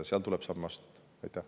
Seal tuleb samme astuda.